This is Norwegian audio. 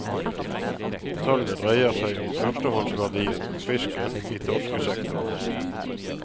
Tallet dreier seg om førstehåndsverdien på fisken i torskesektoren.